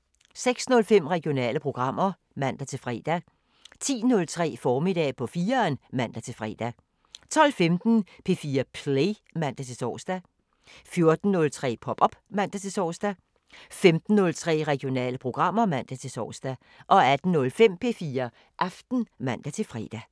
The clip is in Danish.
06:05: Regionale programmer (man-fre) 10:03: Formiddag på 4'eren (man-fre) 12:15: P4 Play (man-tor) 14:03: Pop op (man-tor) 15:03: Regionale programmer (man-tor) 18:05: P4 Aften (man-fre)